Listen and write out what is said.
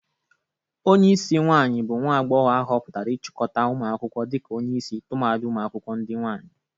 Onyeisi nwaanyị bụ nwa agbogho ahụpụtara ichịkọta ụmụ akwụkwọ dịka onyeisi tụmadị ụmụakwụkwọ ndị nwaanyị.